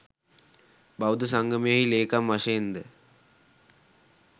බෞද්ධ සංගමයෙහි ලේකම් වශයෙන්ද